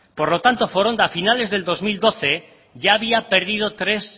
por lo tanto foronda a finales les dos mil doce ya había perdido tres